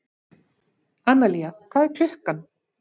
Analía, hvað er klukkan?